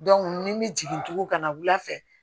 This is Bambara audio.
ni n bɛ jigin tugun ka na wula fɛ